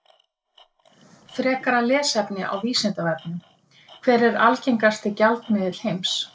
Frekara lesefni á Vísindavefnum: Hver er algengasti gjaldmiðill heims?